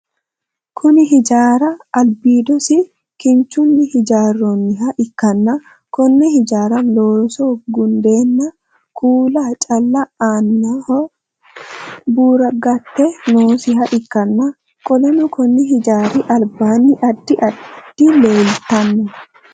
Kunni hijaari albiidosi kinchunni hijaaroonniha ikanna konne hijaara looso gundeenna kuula calla aannaho buuragate noosiha ikanna qoleno konni hijaari albaanni addi addi leeltano.